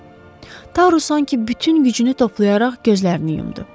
Taru sanki bütün gücünü toplayaraq gözlərini yumdu.